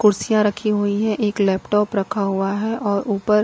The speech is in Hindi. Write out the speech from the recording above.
कुर्सियां रखी हुई है एक लैपटॉप रखा हुआ है और ऊपर--